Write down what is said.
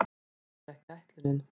Það var ekki ætlunin.